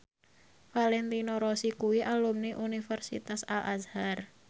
Valentino Rossi kuwi alumni Universitas Al Azhar